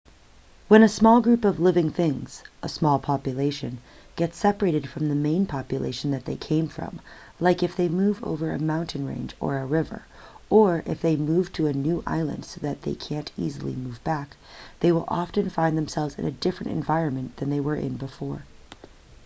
when a small group of living things a small population gets separated from the main population that they came from like if they move over a mountain range or a river or if they move to a new island so that they can't easily move back they will often find themselves in a different environment than they were in before